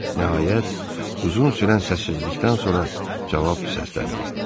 Nəhayət, uzun sürən səssizlikdən sonra cavab da səsləndi: